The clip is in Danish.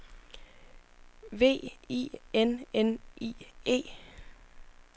V I N N I E